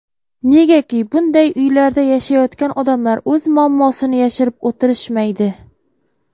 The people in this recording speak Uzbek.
Negaki, bunday uylarda yashayotgan odamlar o‘z muammosini yashirib o‘tirishmaydi.